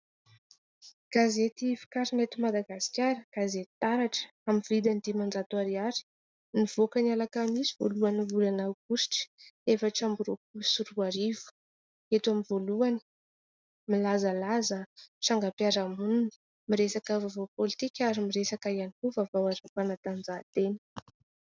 Gazety vokarina eto Madagasikara, gazety "Taratra", amin'ny vidiny dimanjatp ariary. Nivoaka ny Alakamisy voalohan'ny volana aogositra efatra amby roapolo sy roa arivo. Eto amin'ny voalohany, milzalaza trangam-piarahamonina, miresaka vaovao pôlitika ary miresaka ihany koa vaovao ara-panatanjahantena.